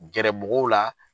Gɛrɛ mɔgɔw la